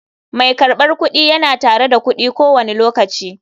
Mai karbar kudi yana tare da kudi ko wani lokaci.